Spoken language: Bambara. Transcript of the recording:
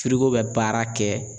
bɛ baara kɛ.